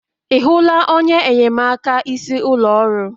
Ị hụla onye enyemaka isi ụlọ ọrụ